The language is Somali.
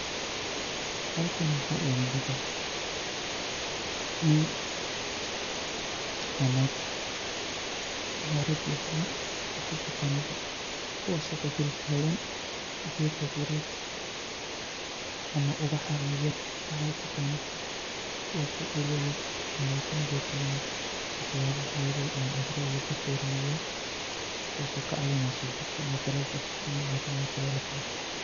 Halkani waxa imugda, nin iyo nag ama rag iyo dumar waxa uyagano bo, kuwas o dul tagan geed abured, ama ubaha yaryar waxa utaganid bo, kuwas oo egayan ama kunadifinayo waxyabo waxyeleye ama cudara kafirinayo, kuwas oo kacawineyso sojidka ama dalaga tayo leh.